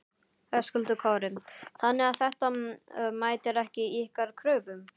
Höskuldur Kári: Þannig að þetta mætir ekki ykkar kröfum?